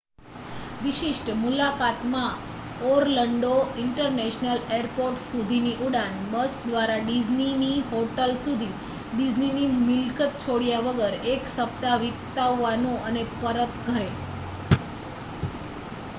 """વિશિષ્ટ" મુલાકાતમાં Orlando international airport સુધીની ઉડાન બસ દ્વારા ડિઝની ની હોટેલ સુધી ડિઝનીની મિલકત છોડ્યા વગર એક સપ્તાહ વિતાવવાનું અને પરત ઘરે.